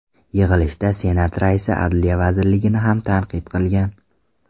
Yig‘ilishda Senat raisi Adliya vazirligini ham tanqid qilgan.